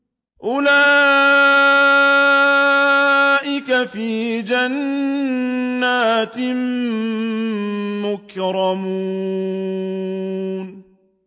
أُولَٰئِكَ فِي جَنَّاتٍ مُّكْرَمُونَ